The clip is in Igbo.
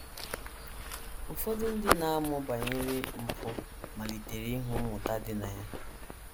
Ụfọdụ ndị na - amụ banyere mpụ malitere ịhụ ihe mmụta dị na ya.